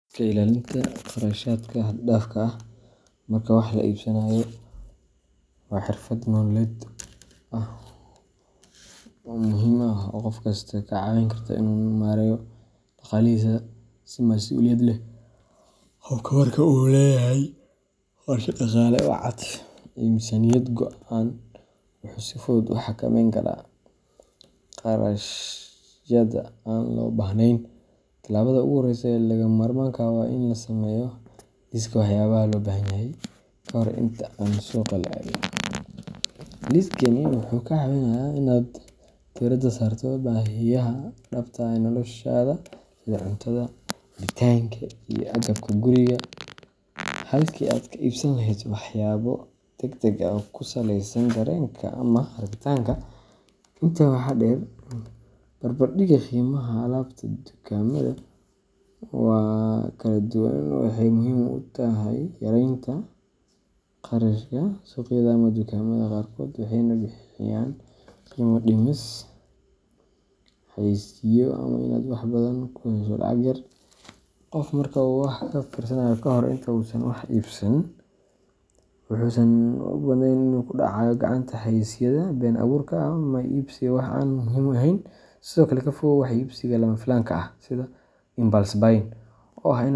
Iska ilaalinta kharashaadka xad dhaafka ah marka wax la iibsanayo waa xirfad nololeed muhiim ah oo qof kasta ka caawin karta inuu maareeyo dhaqaalihiisa si mas’uuliyad leh. Qofka marka uu leeyahay qorshe dhaqaale oo cad iyo miisaaniyad go’an, wuxuu si fudud u xakameyn karaa kharashyada aan loo baahnayn. Talaabada ugu horreysa ee lagama maarmaanka ah waa in la sameeyo liiska waxyaabaha loo baahan yahay ka hor inta aan suuqa la aadin. Liiskani wuxuu kaa caawinayaa inaad diirada saarto baahiyaha dhabta ah ee noloshaada sida cuntada, cabitaanka, iyo agabka guriga, halkii aad ka iibsan lahayd waxyaabo degdeg ah oo ku saleysan dareenka ama rabitaanka. Intaa waxaa dheer, barbardhigga qiimaha alaabta dukaamada kala duwan waxay muhiim u tahay yareynta kharashka. Suuqyada ama dukaamada qaarkood waxay bixiyaan qiimo dhimis, xayeysiisyo ama badeecooyin la mid ah kuwa kale balse leh qiimo jaban. Adeegsiga fursadahaas waxay kuu sahlaysaa inaad wax badan ku hesho lacag yar. Qofka marka uu wax ka fiirsado kahor inta uusan wax iibsan, wuxuusan u badneyn inuu ku dhacayo gacanta xayeysiisyada been abuurka ah ama iibsiga wax aan muhiim ahayn. Sidoo kale, ka fogow wax iibsiga lama filaanka ah impulse buying oo ah.